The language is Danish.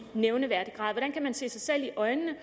nævneværdig grad hvordan kan man se sig selv i øjnene